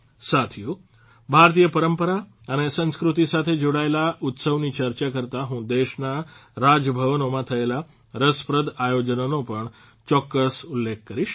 સાથીઓ ભારતીય પરંપરા અને સંસ્કૃતિ સાથે જોડાયેલા ઉત્સવની ચર્ચા કરતાં હું દેશના રાજભવનોમાં થયેલા રસપ્રદ આયોજનોનો પણ ચોક્કસ ઉલ્લેખ કરીશ